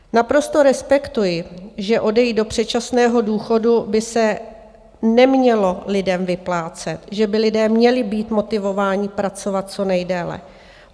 Naprosto respektuji, že odejít do předčasného důchodu by se nemělo lidem vyplácet, že by lidé měli být motivováni pracovat co nejdéle.